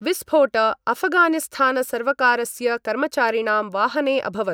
विस्फोट अफगानिस्थानसर्वकारस्य कर्मचारिणां वाहने अभवत्।